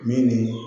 Min ni